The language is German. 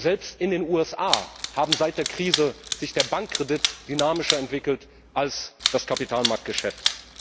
Und selbst in den USA hat sich seit der Krise der Bankkredit dynamischer entwickelt als das Kapitalmarktgeschäft.